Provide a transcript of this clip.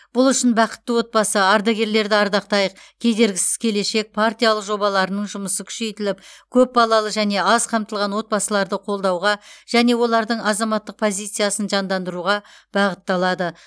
бұл үшін бақытты отбасы ардагерлерді ардақтайық кедергісіз келешек партиялық жобаларының жұмысы күшейтіліп көпбалалы және аз қамтылған отбасыларды қолдауға және олардың азаматтық позициясын жандандыруға бағытталады